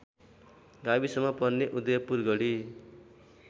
गाविसमा पर्ने उदयपुरगढी